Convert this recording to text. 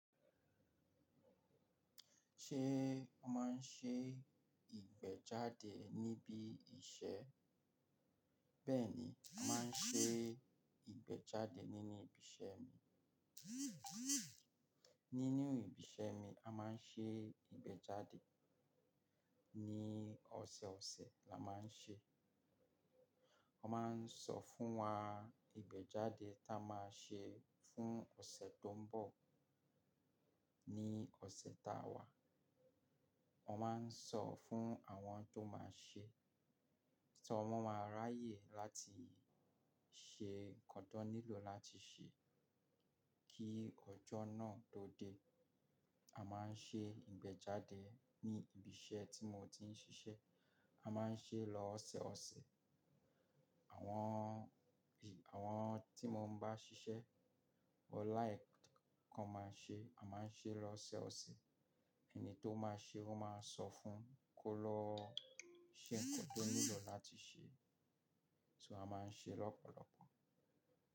Ṣé wọ́n máa ń ṣe ìgbẹ́jáde níbí iṣẹ́? Bẹ́ẹ̀ni, a máa ń ṣe ìgbẹ́jáde nínú ibi iṣẹ́ mi. Nínú ibi iṣẹ́ mi, a máa ń ṣe ìgbẹ́jáde. Ni ọ̀sẹ̀ ọ̀sẹ̀ la máa ń ṣe. Wọ́n máa ń sọ fún wá ìgbẹ́jáde tí a máa ṣe fún ọ̀sẹ̀ tó ń bọ̀. Ní ọ̀sẹ̀ tá wà, wọ́n máa ń sọ fún àwọn tó máa ṣe, tí wọ́n máa ráyè láti ṣe nǹkan tó nílò láti ṣe kí ọjọ́ náà tó dé. A máa ń ṣe ìgbẹ́jáde ní ibí iṣẹ́ tí mo ti ń ṣiṣẹ́. A má a ń ṣe lọ́ ọ̀sẹ̀ ọ̀sẹ̀. Àwọn, àwọn tí mó ń bá ṣiṣẹ́, ọ láì kọ́ máa ń ṣe, a má a ń ṣe lọ́ ọ̀sẹ̀ ọ̀sẹ̀. Ẹni tó máa ṣe wọ́n máa sọ fún un kó lọ ṣe nǹkan tó nílò láti ṣe. So a máa ń ṣe lọ́pọ̀lọpọ̀.